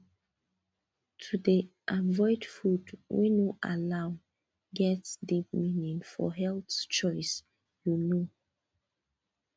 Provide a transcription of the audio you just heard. to dey avoid food wey no allow get deep meaning for health choice you know